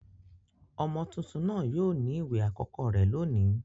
Ọmọ tuntun náà yóò ní ìwẹ̀ àkọ́kọ́ rẹ̀ lónìí